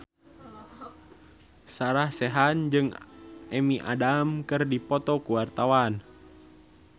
Sarah Sechan jeung Amy Adams keur dipoto ku wartawan